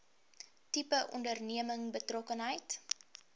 tipe onderneming betrokkenheid